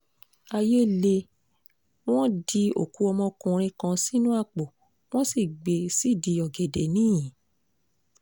àyè lé wọ́n di òkú ọmọkùnrin kan sínú àpò wọ́n sì gbé e sídìí ọ̀gẹ̀dẹ̀ ńiyín